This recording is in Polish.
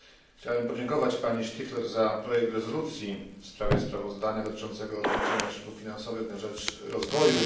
Chciałbym podziękować pani Striffler za projekt rezolucji w sprawie sprawozdania dotyczącego rozliczenia środków finansowych na rzecz rozwoju.